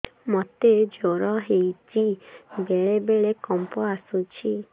ମୋତେ ଜ୍ୱର ହେଇଚି ବେଳେ ବେଳେ କମ୍ପ ଆସୁଛି